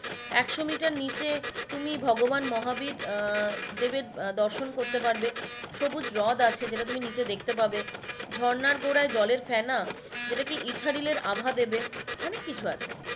একশো মিটার নিচে তুমি ভগবান মহাবীর দেবের দর্শন করতে পারবে সবুজ হ্রদ আছে যেটা তুমি নাচে দেখতে পাবে, ঝর্ণায় গোড়ায় জলের ফেনা যেটাকে ইথারিলের আভা দেবে অনেক কিছু আছে